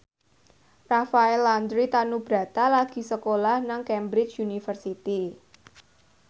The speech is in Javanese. Rafael Landry Tanubrata lagi sekolah nang Cambridge University